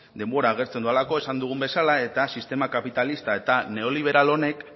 denbora agortzen delako esan dugun bezala eta sistema kapitalista eta neoliberal honek